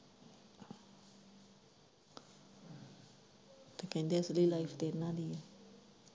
ਤੇ ਕਹਿੰਦੇ free life ਕਿੰਨਾ ਦੀ ਏ।